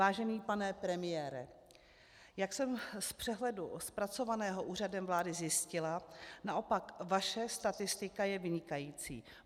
Vážený pane premiére, jak jsem z přehledu zpracovaného Úřadem vlády zjistila, naopak vaše statistika je vynikající.